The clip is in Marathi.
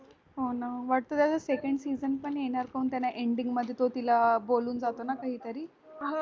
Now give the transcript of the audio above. हो ना वाटलेलं second season पण येणार कोन त्याला ending तो तिला बोलून जातो ना कि काय तरी